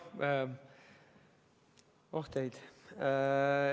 Oh teid!